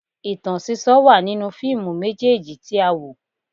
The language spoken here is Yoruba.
Ìtàn sísọ wà nínú fíìmù méjèèjì tí a wò